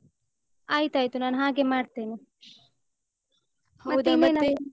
ಆಯ್ತಾಯ್ತು ನಾನ್ ಹಾಗೆ ಮಾಡ್ತೇನೆ. ಮತ್ತ್ ಇನ್ನೇನು?